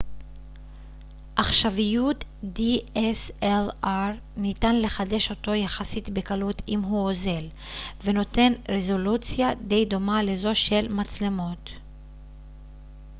ניתן לחדש אותו יחסית בקלות אם הוא אוזל ונותן רזולוציה די דומה לזו של מצלמות dslr עכשוויות